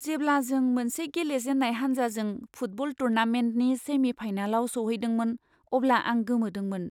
जेब्ला जों मोनसे गेलेजेन्नाय हानजाजों फुटबल टुर्नामेन्टनि सेमि फाइनालाव सौहैदोंमोन अब्ला आं गोमोदोंमोन।